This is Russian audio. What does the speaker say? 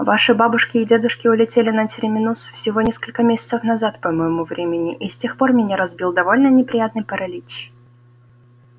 ваши бабушки и дедушки улетели на терминус всего несколько месяцев назад по моему времени и с тех пор меня разбил довольно неприятный паралич